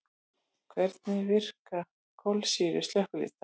Hvernig virka kolsýru slökkvitæki?